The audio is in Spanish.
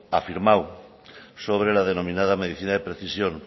afirmamos sobre la denominada medicina de precisión